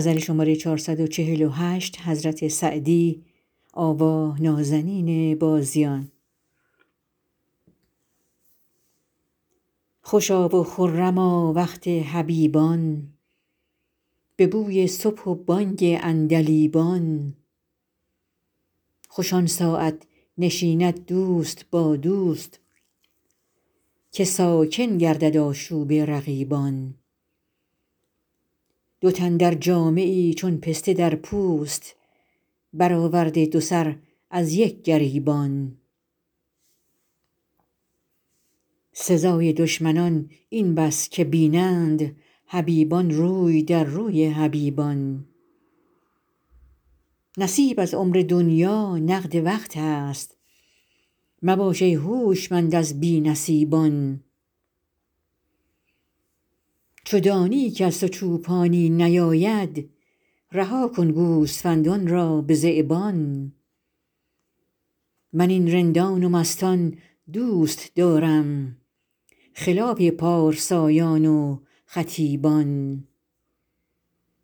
خوشا و خرما وقت حبیبان به بوی صبح و بانگ عندلیبان خوش آن ساعت نشیند دوست با دوست که ساکن گردد آشوب رقیبان دو تن در جامه ای چون پسته در پوست برآورده دو سر از یک گریبان سزای دشمنان این بس که بینند حبیبان روی در روی حبیبان نصیب از عمر دنیا نقد وقت است مباش ای هوشمند از بی نصیبان چو دانی کز تو چوپانی نیاید رها کن گوسفندان را به ذیبان من این رندان و مستان دوست دارم خلاف پارسایان و خطیبان